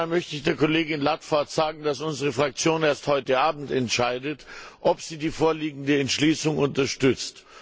Zunächst einmal möchte ich der Kollegin Ludford sagen, dass unsere Fraktion erst heute Abend entscheidet, ob sie die vorliegende Entschließung unterstützt.